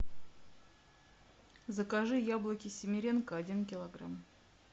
закажи яблоки семеренко один килограмм